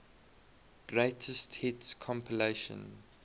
greatest hits compilation